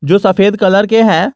जो सफेद कलर के हैं।